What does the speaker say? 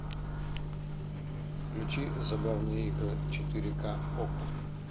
включи забавные игры четыре ка окко